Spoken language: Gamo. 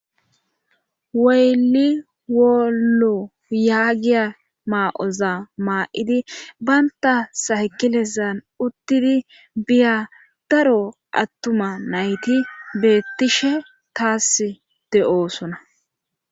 weyli wolo yaagiya maa7oza maa7idi baynta saykilesan uttidi biya daro attuma nayti beettishe taas de7oosona